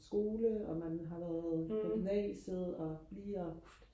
skole og man har været på gymnasiet og lige og